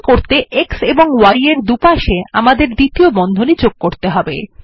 এটি করতে x এবং y এর পাশে আমাদের দ্বিতীয় বন্ধনী যোগ করতে হবে